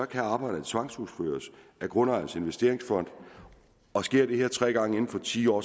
kan arbejdet tvangsudføres af grundejernes investeringsfond og sker de her ting tre gange inden for ti år